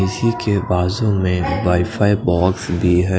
इसीके बाजु में -wifi box भी हैं।